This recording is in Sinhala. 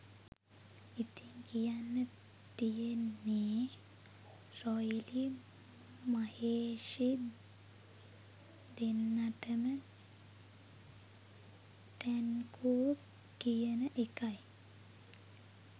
ඉතිං කියන්න තියෙන්නේ රොයිලි මහේෂි දෙන්නටම ටැන්කූ කියන එකයි